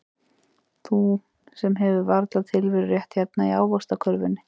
Þú sem hefur varla tilverurétt hérna í ávaxtakörfunni.